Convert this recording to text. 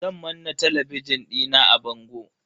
Zan manna talabijin dina a bango.